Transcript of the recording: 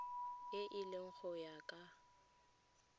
e le go ya ka